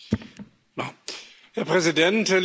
Herr Präsident, liebe Kolleginnen und Kollegen!